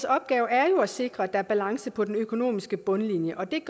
opgave er at sikre at der er balance på den økonomiske bundlinje og det